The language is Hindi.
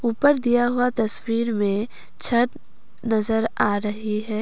ऊपर दिया हुआ तस्वीर में छत नजर आ रही है।